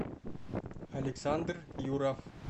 александр юров